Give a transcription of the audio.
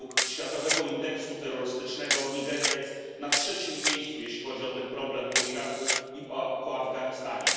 Według światowego indeksu terrorystycznego Nigeria jest na trzecim miejscu, jeśli chodzi o ten problem, po Iraku i po Afganistanie.